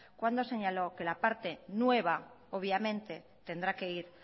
cuando señaló que la parte nueva obviamente tendrá que ir